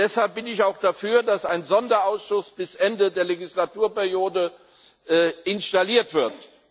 Deshalb bin ich auch dafür, dass ein Sonderausschuss bis Ende der Legislaturperiode installiert wird.